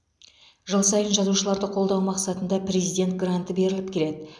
жыл сайын жазушыларды қолдау мақсатында президент гранты беріліп келеді